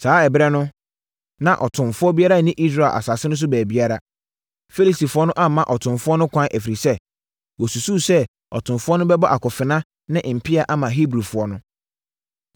Saa ɛberɛ no, na ɔtomfoɔ biara nni Israel asase no so baabiara. Filistifoɔ no amma atomfoɔ no kwan, ɛfiri sɛ, wosusuu sɛ atomfoɔ no bɛbɔ akofena ne mpea ama Hebrifoɔ no.